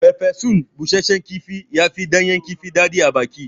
Farfesun bushashshen kifi ya fi ɗanyan kifi daɗi abaki